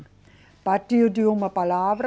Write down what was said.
Partir de uma palavra,